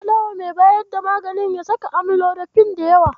Na faɗawa mai bayar da magani ya saka amlodifin da yawa.